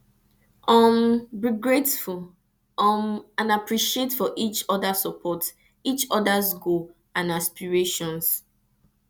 um be grateful um and appreciative for each othersupport each others goals and aspirations